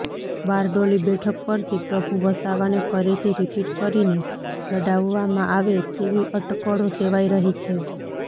બારડોલી બેઠક પરથી પ્રભુ વસાવાને ફરીથી રિપીટ કરીને લડાવવામાં આવે તેવી અટકળો સેવાઈ રહી છે